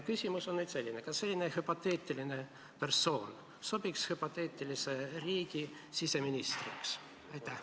Küsimus on selline: kas selline hüpoteetiline persoon sobiks hüpoteetilise riigi siseministriks?